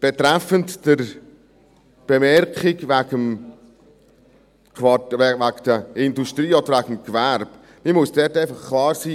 Betreffend die Bemerkung wegen der Industrie oder wegen des Gewerbes: Ich muss dort einfach klar sein.